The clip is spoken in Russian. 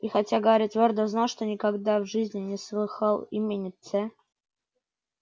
и хотя гарри твёрдо знал что никогда в жизни не слыхал имени ц